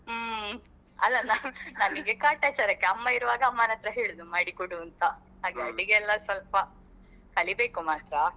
ಹ್ಮ್ ಅಲ್ಲ ನಮಿಗೆ ಕಾಟಾಚಾರಕ್ಕೆ ಅಮ್ಮ ಇರುವಾಗ ಅಮ್ಮನತ್ರ ಹೇಳುದು ಮಾಡಿಕೊಡು ಅಂತ ಹಾಗೆ ಅಡಿಗೆಯೆಲ್ಲ ಸ್ವಲ್ಪ ಕಲಿಬೇಕು ಮಾತ್ರ.